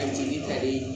A jolita ye